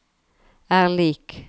er lik